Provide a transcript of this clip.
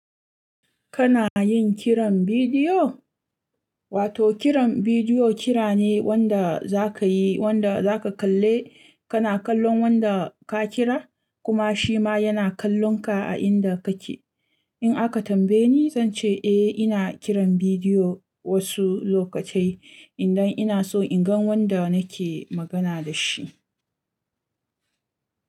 Kana yin kiran bidiyo? Wato kiran bidiyo kira ne wanda za ka yi, wanda za ka kalle, kana kallon wanda ka kira kuma shi ma yana kallon kallonka a inda kake. In aka tambaye ni zan ce eh ina kiran bidiyo wasu lokatai idan ina so in gan wanda nake magana da shi.